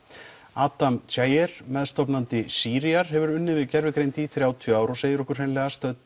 Adam Cheyer meðstofnandi Síríar hefur unnið við gervigreind í þrjátíu ár og segir okkur hreinlega stödd